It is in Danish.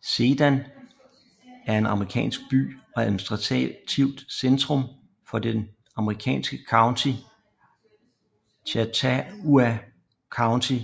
Sedan er en amerikansk by og administrativt centrum for det amerikanske county Chautauqua County